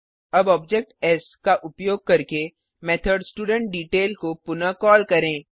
अब objects का उपयोग करके मेथड studentDetail को पुनः कॉल करें